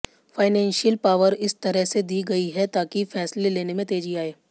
financial power इस तरह से दी गई है ताकि फैसले लेने में तेजी आए